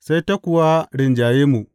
Sai ta kuwa rinjaye mu.